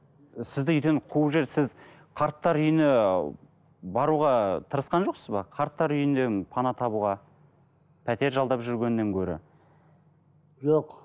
сізді үйден қуып жіберді сіз қарттар үйіне баруға тырысқан жоқсыз ба қарттар үйінен пана табуға пәтер жалдап жүргеннен гөрі жоқ